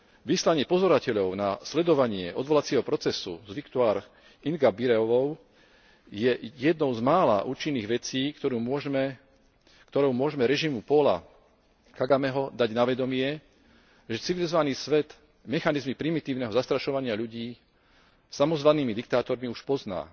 Vyslanie pozorovateľov na sledovanie odvolacieho procesu s Victoire Ingabireovou je jednou z mála účinných vecí, ktorou môžeme režimu Paula Kagameho dať na vedomie, že civilizovaný svet mechanizmy primitívneho zastrašovania ľudí samozvanými diktátormi už pozná